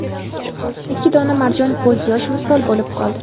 Ikki dona marjon ko‘z yosh misol bo‘lib qoldi.